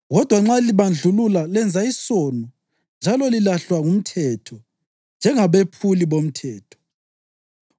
Kodwa nxa libandlulula lenza isono njalo lilahlwa ngumthetho njengabephuli bomthetho.